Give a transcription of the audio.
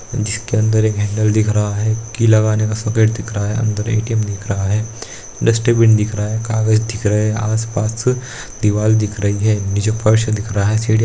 जिसके अंदर एक हैंडल दिख रहा है की लगाने का दिख रहा है अंदर ए.टी.एम. दिख रहा है डस्टबिन दिख रहा है कागज़ दिख रहा है आस-पास दीवाल दिख रही रही है नीचे फ़र्श दिख रहा है।